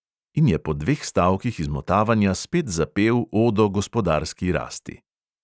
In je po dveh stavkih izmotavanja spet zapel odo gospodarski rasti.